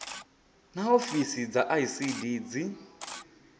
naa ofisi dza icd dzi